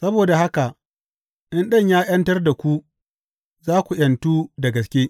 Saboda haka in Ɗan ya ’yantar da ku, za ku ’yantu da gaske.